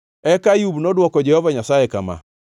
Eka Ayub nodwoko Jehova Nyasaye kama: